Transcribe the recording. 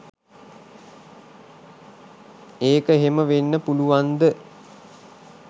ඒක එහෙම වෙන්න පුළුවන්ද?